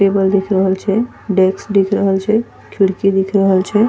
टेबल दिख रहल छे डेस्क दिख रहल छे खिड़की दिख रहल छे।